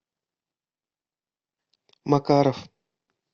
макаров